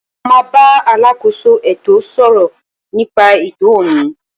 Mo ma bá alákóso ètò sọ̀rọ̀ nípa ètò ọ̀ní.